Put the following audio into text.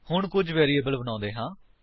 ਹੁਣ ਕੁੱਝ ਵੈਰਿਏਬਲ ਬਣਾਉਂਦੇ ਹਾਂ